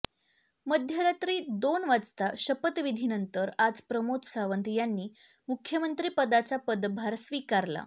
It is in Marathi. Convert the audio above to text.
मध्यरात्री दोन वाजता शपथविधीनंतर आज प्रमोद सावंत यांनी मुख्यमंत्रीपदाचा पदभार स्वीकारला